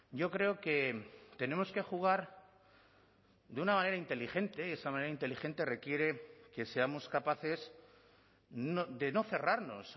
yo creo que tenemos que jugar de una manera inteligente esa manera inteligente requiere que seamos capaces de no cerrarnos